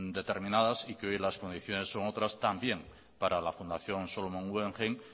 determinadas y que hoy las condiciones son otras también para la fundación solomon guggenheim